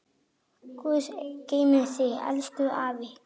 Guð geymi þig, elsku afi.